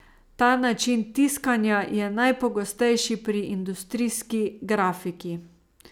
Ta način tiskanja je najpogostejši pri industrijski grafiki.